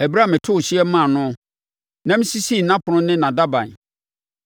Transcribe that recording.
ɛberɛ a metoo hyeɛ maa noɔ na mesisii nʼapono ne nʼadaban,